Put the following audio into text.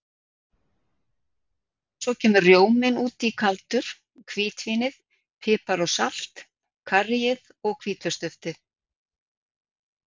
Svo kemur rjóminn út í kaldur, hvítvínið, pipar og salt, karríið og hvítlauksduftið.